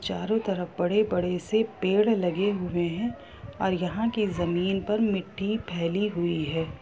चारो तरफ बड़े बड़े से पेड़ लगे हुए हैं और यहाँ के जमीन पर मिट्टी फैली हुई है ।